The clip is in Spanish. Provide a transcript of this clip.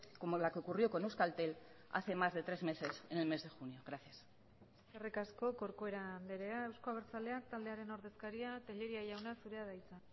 como la que ocurrió con euskaltel hace más de tres meses en el mes de junio gracias eskerrik asko corcuera andrea eusko abertzaleak taldearen ordezkaria tellería jauna zurea da hitza